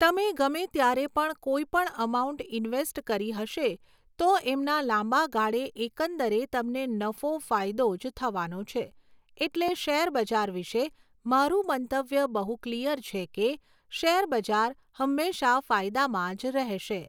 તમે ગમે ત્યારે પણ કોઈ પણ અમાઉન્ટ ઇન્વૅસ્ટ કરી હશે તો એમના લાંબાગાળે એકંદરે તમને નફો ફાયદો જ થવાનો છે એટલે શૅર બજાર વિશે મારૂં મંતવ્ય બહુ ક્લિયર છે કે શૅરબજાર હંમેશાં ફાયદામાં જ રહેશે